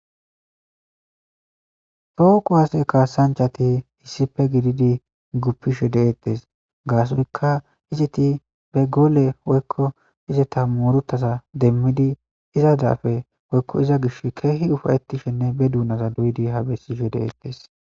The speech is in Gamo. tooku waase kaasanchati hissife gididi guppishe deettes gaasonkka iziti be goole woykko ize ta muruttaza demmidi iza daafe oykko iza gish keehi ufayetishenne be duunaza duydi habessishe deettes